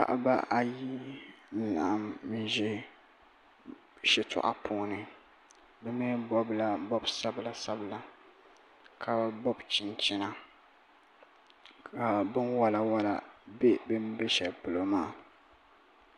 paɣiba ayi n-laɣim n-ʒe shitɔɣu puuni bɛ mi bɔbila bɔbi' sabilasabila ka bɔbi chinchina ka binwalawala be bɛn be shɛli polo maa